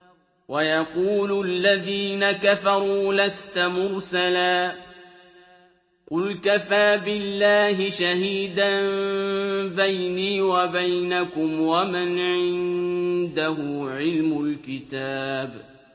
وَيَقُولُ الَّذِينَ كَفَرُوا لَسْتَ مُرْسَلًا ۚ قُلْ كَفَىٰ بِاللَّهِ شَهِيدًا بَيْنِي وَبَيْنَكُمْ وَمَنْ عِندَهُ عِلْمُ الْكِتَابِ